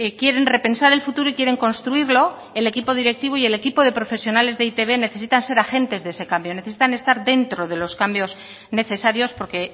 quieren repensar el futuro y quieren construirlo el equipo directivo y el equipo de profesionales de e i te be necesitan ser agentes de ese cambio necesitan estar dentro de los cambios necesarios porque